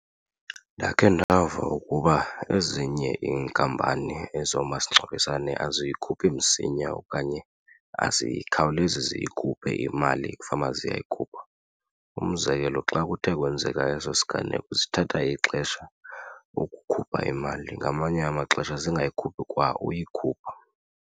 Ndakhe ndava ukuba ezinye inkampani ezomasingcwabisane aziyikhuphi msinya okanye azikhawulezi ziyikhuphe imali ekufanele uba ziyayikhupha. Umzekelo xa kuthe kwenzeka eso siganeko zithatha ixesha ukukhupha imali ngamanye amaxesha zingayikhuphi kwa uyikhupha.